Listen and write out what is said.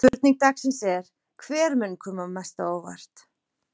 Spurning dagsins er: Hver mun koma mest á óvart?